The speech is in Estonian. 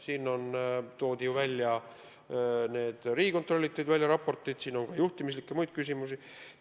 Riigikontroll tegi selle kohta raporti, siin on tegu juhtimis- ja muude küsimustega.